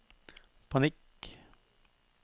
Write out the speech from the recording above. panikk